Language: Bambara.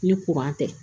Ni tɛ